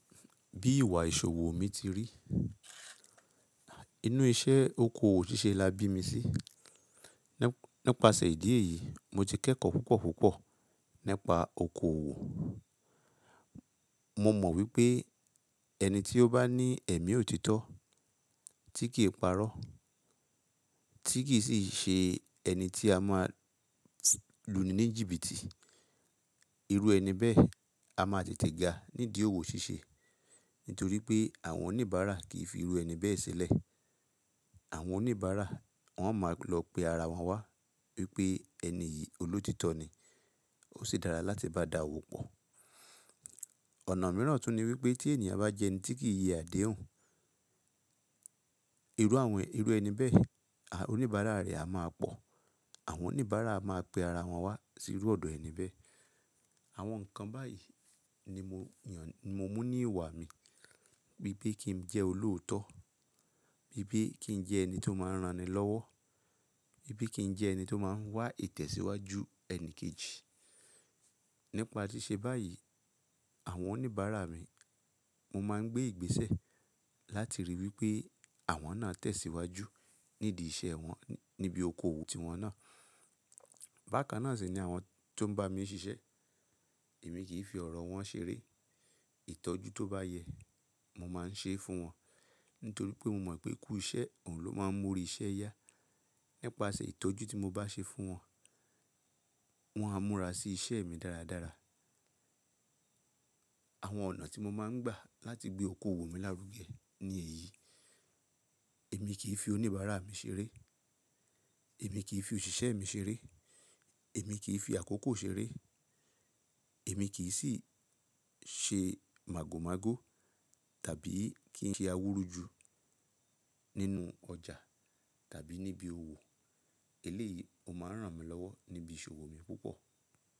Bí ìwà ìṣòwò mi ti rí, inú iṣẹ́ oko òwò ṣíṣe la bí mi sí. Nípasẹ̀ ìdí èyí, mo ti kẹ́kọ̀ọ́ púpọ̀ púpọ̀ nípa oko òwò. Mo mọ̀ wípé ẹni tí ó bá ní ẹ̀mí òtítọ́ tí kì parọ́, tí kì sì ṣe ẹni tí a máa lù ni ní jìbìtì. Irú ẹni bẹ́ẹ̀ a máa tètè ga nídìí òwò ṣíṣe, nítorí pé àwọn oníbàárà kì í fi irú ẹni bẹ́ẹ̀ sílẹ̀. Àwọn oníbàárà wọn máa lọ pe ara wọn wá wípé ẹni yìí olóòtítọ́ ni, ó sì dára láti bá dàówó pọ̀. Ọ̀nà mìíràn tún ni wípé tí ènìyàn bá jẹ́ ẹni tí kì í yẹ àdéhùn, irú àwọn irú ẹni bẹ́ẹ̀ oníbàárà rẹ̀ a máa pọ̀. Àwọn oníbàárà a máa pe ara wọn wá sí irú ọ̀dọ̀ ẹni bẹ́ẹ̀. Àwọn nǹkan báyìí ni mo yàn, mo mú ní ìwà mi bípe kin jẹ́ olóòótọ́, bípe kí n jẹ́ ẹni tó máa ń ranni lọ́wọ́, bípe kí n jẹ́ ẹni tó máa ń wá ìtẹ̀síwájú ẹni kejì. Nípa ṣi ṣe báyìí, àwọn oníbàárà mi mo máa ń gbé ìgbésẹ̀ láti ríi wípé àwọn náà tẹ̀síwájú nídìí iṣẹ́ wọn níbi oko òwò tiwọn náà. Bákan náà sì ni àwọn ti ó ń bá mi ṣiṣẹ́ èmi kì í fi ọ̀rọ̀ wọn ṣeré. Ìtọ́jú tó bá yẹ mo máa ń ṣe é fún wọn, nítorí pé mo mọ̀ pé kú iṣẹ́ òun ló máa ń mú ori iṣẹ́ yá. Nípasẹ̀ ìtọ́jú tí mo bá ṣe fún wọn, wọn a múra sí iṣẹ́ mi dáradára. Àwọn ọ̀nà tí mo máa ń gbà láti gbé oko òwò mi lárugẹ ni èyí: Èmi kì í fi oníbàárà mi ṣeré, èmi kì í fi òṣìṣẹ́ mi ṣeré, èmi kì í fi àkókó ṣeré, èmi kì í sì ṣe màgòmágó tàbí kí n ṣe awúrú ju nínú ọjà tàbí níbi òwò. Eléyìí, ó máa ń ràn mí lọ́wọ́ níbi ìṣòwò mi púpọ̀.